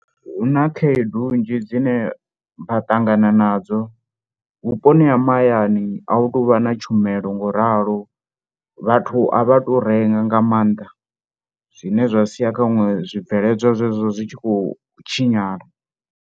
Hu na khaedu nnzhi dzine vha ṱangana nadzo vhuponi ha mahayani a hu tou vha na tshumelo ngoralo. Vhathu a vha tou renga nga maanḓa zwine zwa sia khaṅwe zwibveledzwa zwezwo zwi tshi khou tshinyala.